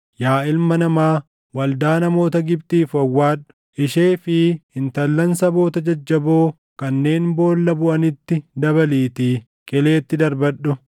“Yaa ilma namaa, waldaa namoota Gibxiif wawwaadhu; ishee fi intallan saboota jajjaboo kanneen boolla buʼanitti dabaliitii qileetti darbadhu.